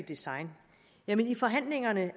design jamen i forhandlingerne